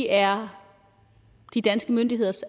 er de danske myndigheders